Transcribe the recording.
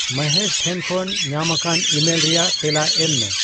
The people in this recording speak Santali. ᱢᱚᱦᱮᱥ ᱴᱷᱮᱱ ᱠᱷᱚᱱ ᱧᱟᱢᱟᱠᱟᱱ ᱤᱢᱮᱞ ᱨᱮᱭᱟᱜ ᱛᱮᱞᱟ ᱮᱢ ᱢᱮ